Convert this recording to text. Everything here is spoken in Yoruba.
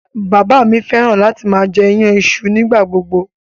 Bàbá mi fẹ́ràn láti máa jẹ iyan iṣu nígbà gbogbo.